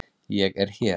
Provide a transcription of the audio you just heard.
Ég er hér.